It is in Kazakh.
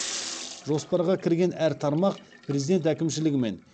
жоспарға кірген әр тармақ президент әкімшілігімен